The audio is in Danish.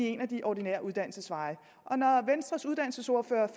en af de ordinære uddannelsesveje venstres uddannelsesordfører